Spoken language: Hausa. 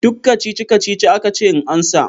Duk kacici-kacici aka ce in amsa.